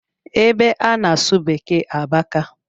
Ebe a na-asụ beeke abaka